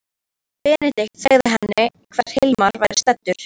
Benedikt sem sagði henni hvar Hilmar væri staddur.